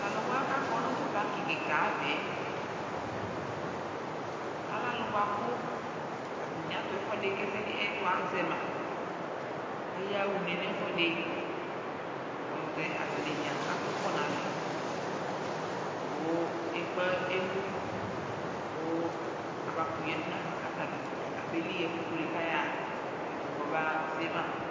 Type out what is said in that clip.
Tʋ alʋ wa kʋ akɔ nʋ tʋ pakɩ kɩka ava yɛ, alɛ alʋ bʋa kʋ atanɩ atʋ ɛfʋɛdɩ, ɛsɛ dɩ kʋ ɛtʋ azɛ ma kʋ ayaɣa une nʋ ɛfʋɛdɩ Alʋtɛ atanɩ dza atʋkɔ nʋ alɛ kʋ ekpe emu kʋ abakʋtʋ yǝdu nafa kʋ atabanɩ dza kabeli ɣa ɛfʋ kulu yɛ kʋ ayaɣa kʋ ɛtʋ kɔbese ma